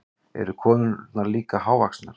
Eru konurnar líka hávaxnar?